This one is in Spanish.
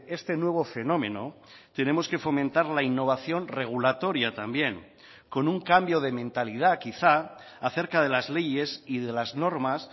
este nuevo fenómeno tenemos que fomentar la innovación regulatoria también con un cambio de mentalidad quizá acerca de las leyes y de las normas